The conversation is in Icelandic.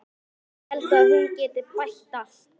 Ég held að hún geti bætt allt.